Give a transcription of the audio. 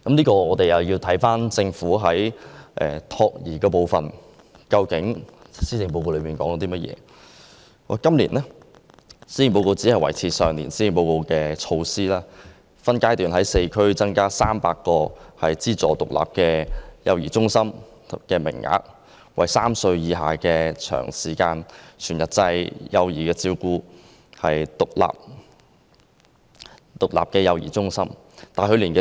關於託兒服務方面，今年的施政報告顯示，政府只維持去年施政報告所建議的措施，即分階段在4區增加300個資助獨立幼兒中心的名額，提供2至3歲幼稚園暨幼兒中心全日制服務。